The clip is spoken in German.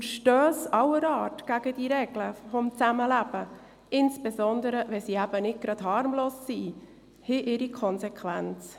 Verstösse aller Art gegen diese Regeln des Zusammenlebens, insbesondere, wenn diese nicht harmlos sind, haben Konsequenzen.